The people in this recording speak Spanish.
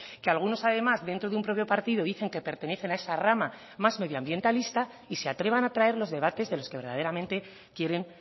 que algunos además dentro de un propio partido dicen que pertenecen a esa rama más medioambientalista y se atrevan a traer los debates de los que verdaderamente quieren